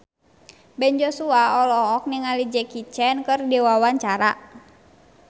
Ben Joshua olohok ningali Jackie Chan keur diwawancara